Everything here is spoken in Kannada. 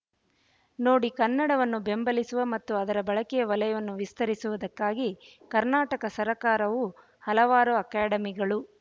ನೋಡಿ ಕನ್ನಡವನ್ನು ಬೆಂಬಲಿಸುವ ಮತ್ತು ಅದರ ಬಳಕೆಯ ವಲಯವನ್ನು ವಿಸ್ತರಿಸುವುದಕ್ಕಾಗಿ ಕರ್ನಾಟಕ ಸರಕಾರವು ಹಲವಾರು ಅಕಾಡಮಿಗಳು